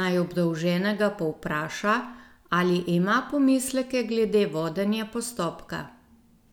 naj obdolženega povpraša, ali ima pomisleke glede vodenja postopka.